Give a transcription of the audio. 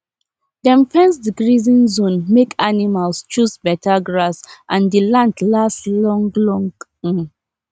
dem fence the grazing zone make animals choose better grass and the land last long long um